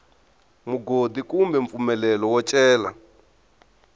mugodi kumbe mpfumelelo wo cela